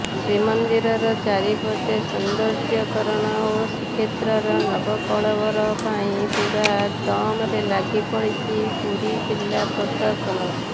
ଶ୍ରୀମନ୍ଦିର ଚାରିପଟ ସୌନ୍ଦର୍ଯ୍ୟକରଣ ଓ ଶ୍ରୀକ୍ଷେତ୍ରର ନବକଳେବର ପାଇଁ ପୁରା ଦମରେ ଲାଗିପଡିଛି ପୁରୀ ଜିଲ୍ଲା ପ୍ରଶାସନ